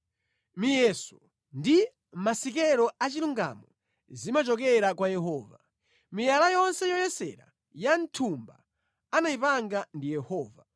Miyeso ndi masikelo achilungamo zimachokera kwa Yehova; miyala yonse yoyesera ya mʼthumba anayipanga ndi Yehova.